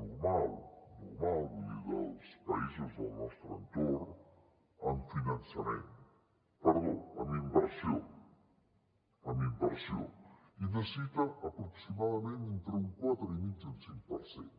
normal normal vull dir dels països del nostre entorn amb finançament perdó amb inversió amb inversió i necessita aproximadament entre un quatre i mig i un cinc per cent